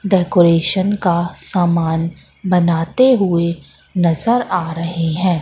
Decoration का सामान बनाते हुए नजर आ रहे हैं।